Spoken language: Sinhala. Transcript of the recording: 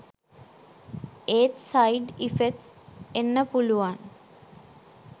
ඒත් සයිඩ් ඉෆෙක්ට්ස් එන්න පුලුවන්